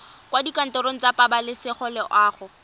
kwa dikantorong tsa pabalesego loago